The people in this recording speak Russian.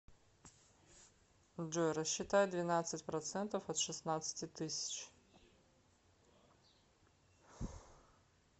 джой рассчитай двенадцать процентов от шестнадцати тысяч